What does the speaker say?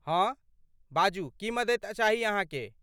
हँ, बाजू, की मदति चाही अहाँके?